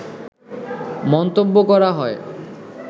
মন্তব্য করা হয়